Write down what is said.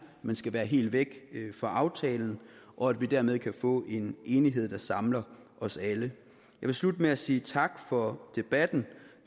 men skal være helt væk fra aftalen og at vi dermed kan få en enighed der samler os alle jeg vil slutte med at sige tak for debatten